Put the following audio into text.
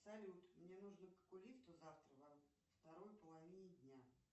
салют мне нужно к окулисту завтра во второй половине дня